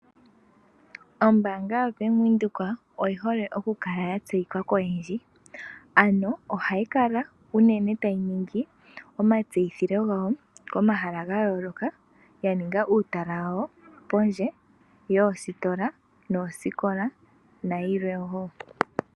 Ombaanga yoBank Windhoek oyi hole okukala ya tseyika koyendji. Ano ohayi kala unene tayi ningi omatseyitho gayo komahala ga yooloka, yaninga uutala wawo pondje yoositola noosikola, nayilwe wo.